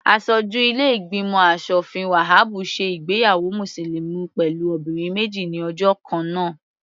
Aṣojú ilé ìgbìmọ̀ aṣòfin Wahabu ṣe ìgbéyàwó mùsùlùmí pẹ̀lú obìnrin méjì ní ọjọ́ kannáà.